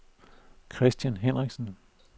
Christian Henriksen